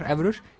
evrur